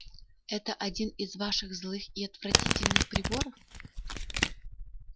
это один из ваших злых и отвратительных приборов